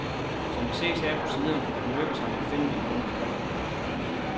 Som det ses her på siderne, er det lykkedes ham at finde dem rundt omkring.